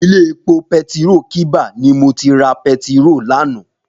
Ilé épó pétiró kiba ni mó ti rá pètiró làná